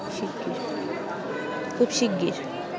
খুব শিগগির